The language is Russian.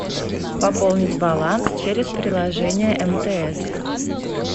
пополнить баланс через приложение мтс